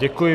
Děkuji.